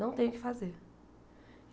Não tem o que fazer.